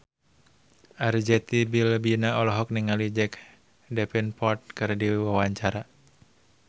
Arzetti Bilbina olohok ningali Jack Davenport keur diwawancara